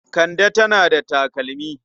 Kande tana da takalmi.